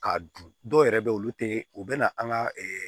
K'a dun dɔw yɛrɛ bɛ yen olu tɛ u bɛ na an ka ɛ